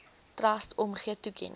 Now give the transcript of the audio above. trust omgee toekenning